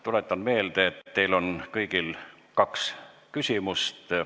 Tuletan meelde, et teil on kõigil võimalik esitada kaks küsimust.